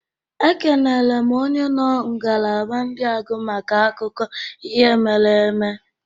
Ekenere m onye nọ ngalaba ndị agụ maka akụkọ ihe mere eme.